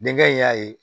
Denkɛ in y'a ye